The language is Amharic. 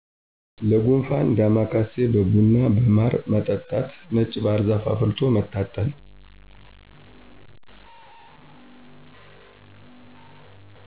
ለጉንፍን ዳማከሴ በብና በማር መጠጣት ነጭ ባህርዛፍ አፍልቶ መታጠን